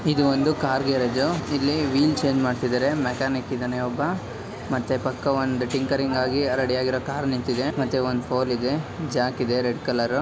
ಇದು ಒಂದು car garage ಇಲ್ಲಿ ವೀಲ್ ಚೇಂಜ್ ಮಾಡ್ತಿದ್ದಾರೆ ಮೆಕ್ಯಾನಿಕ್ ಇದಾನೆ ಒಬ್ಬ ಮತ್ತೆ ಪಕ್ಕ ಒಂದು ಟಿಂಕರಿಂಗ್ ಆಗಿ ರೆಡಿ ಆಗಿರೋ ಕರ್ ನಿಂತಿದೆ ಮತ್ತೆ ಒಂದ್ ಫೋರೆ ಇದೆ ಜಾಕ್ ಇದೆ ರೆಡ್ ಕಲರ್--